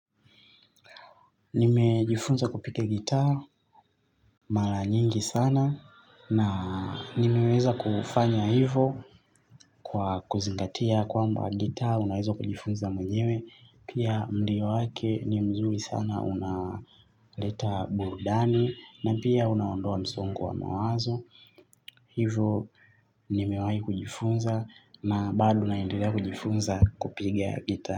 Nimejifunza kupiga guitar mara nyingi sana, na nimeweza kufanya hivo kwa kuzingatia kwamba guitar unaweza kujifunza mwenyewe, pia mlio wake ni mzuri sana unaleta burudani na pia unaondoa msongo wa mawazo hivo nimewahi kujifunza na baado naendelea kujifunza kupiga gitaa.